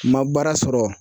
Ma baara sɔrɔ